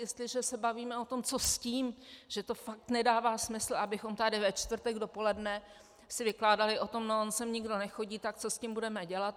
Jestliže se bavíme o tom, co s tím, že to fakt nedává smysl, abychom tady ve čtvrtek dopoledne si vykládali o tom - no on sem nikdo nechodí, tak co s tím budeme dělat?